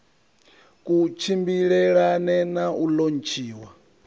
ku tshimbilelane na u lontshiwa